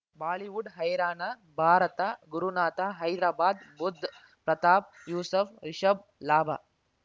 Bollywood ಹೈರಾಣ ಭಾರತ ಗುರುನಾಥ ಹೈದರಾಬಾದ್ ಬುಧ್ ಪ್ರತಾಪ್ ಯೂಸಫ್ ರಿಷಬ್ ಲಾಭ